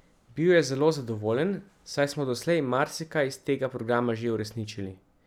Bil je zelo zadovoljen, saj smo doslej marsikaj iz tega programa že uresničili.